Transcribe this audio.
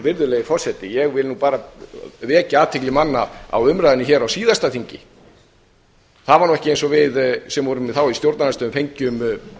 virðulegi forseti ég vil nú bara vekja athygli manna á umræðunni hér á síðasta þingi það var nú ekki eins og við sem vorum þá í stjórnarandstöðu fengjum